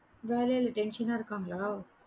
வேலைல tension ஆ இருக்காங்களா?